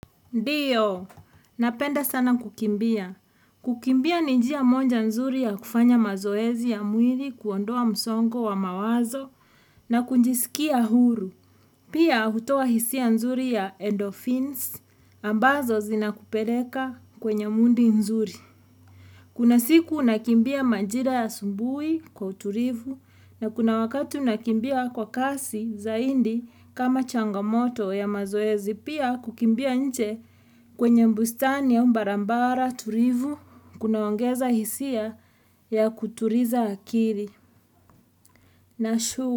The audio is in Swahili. Ndio, napenda sana kukimbia. Kukimbia ni jia moja nzuri ya kufanya mazoezi ya mwili kuondoa msongo wa mawazo na kujisikia huru. Pia hutoa hisia nzuri ya endorphins ambazo zina kupeleka kwenye mudi nzuri. Kuna siku unakimbia majira ya asubuhi kwa utulivu na kuna wakati unakimbia kwa kasi zaidi kama changamoto ya mazoezi. Pia kukimbia nje kwenye bustani ya barabara, tulivu, kuna ongeza hisia ya kutuliza akili.